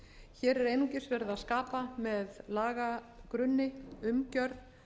hér er einungis verið að skapa með lagagrunni umgjörð